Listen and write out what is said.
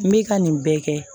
N bɛ ka nin bɛɛ kɛ